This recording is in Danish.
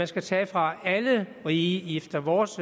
skal tage fra alle rige efter vores